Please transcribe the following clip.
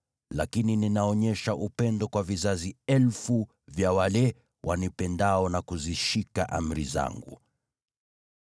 lakini ninaonyesha upendo kwa maelfu ya vizazi vya wale wanipendao na kuzishika amri zangu.